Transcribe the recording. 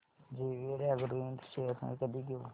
JVL Agro Ind shares मी कधी घेऊ